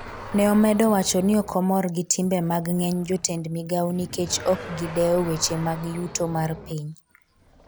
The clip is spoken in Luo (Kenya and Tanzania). ne omedo wacho ni ok omor gi timbe mag ng'eny jotend migawo nikech ok gidewo weche mag yuto mar piny